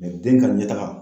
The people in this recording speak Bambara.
den ka ɲɛtaga